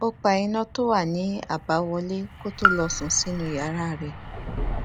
ó pa iná tó wà ní àbáwọlé kó tó lọ sùn sínú yàrá rè